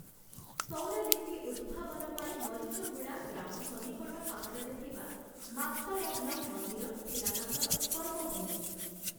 ସଉରା ଲିପି ଉଦ୍ଭାବନ ପାଇଁ ମରିଚଗୁଡ଼ା ଗ୍ରାମ ସନ୍ନିକଟ ପାହାଡ଼ରେ ଥିବା ମାତ୍ତାରବ୍ନମ୍ ମନ୍ଦିର ଥିଲା ତାଙ୍କର କର୍ମଭୂମି ।